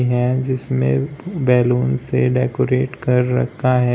है जिसमें बैलून से डेकोरेट कर रखा है।